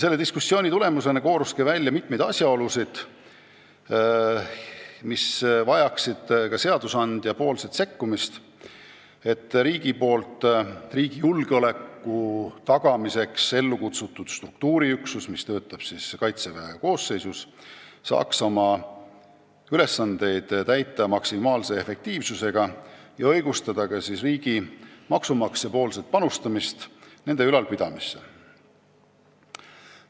Selle diskussiooni tulemusena kooruski välja mitmeid asjaolusid, mis nõuavad ka seadusandja sekkumist, et riigi poolt riigi julgeoleku tagamiseks ellu kutsutud struktuuriüksus, mis töötab Kaitseväe koosseisus, saaks oma ülesandeid täita maksimaalse efektiivsusega ja õigustada maksumaksja raha panustamist oma ülalpidamisse.